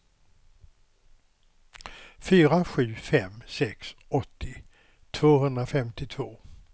fyra sju fem sex åttio tvåhundrafemtiotvå